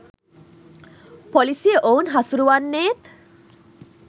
පොලිසිය ඔවුන් හසුරුවන්නේත්